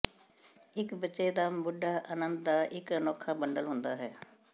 ਇੱਕ ਬੱਚੇ ਦਾ ਮੁੰਡਾ ਅਨੰਦ ਦਾ ਇੱਕ ਅਨੋਖਾ ਬੰਡਲ ਹੁੰਦਾ ਹੈ